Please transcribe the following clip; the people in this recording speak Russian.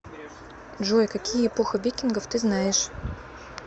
джой какие эпоха викингов ты знаешь